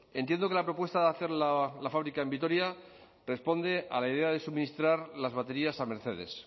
entiendo que la propuesta de hacer la fábrica en vitoria responde a la idea de suministrar las baterías a mercedes